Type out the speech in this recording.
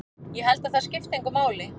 Ég held að það skipti engu máli.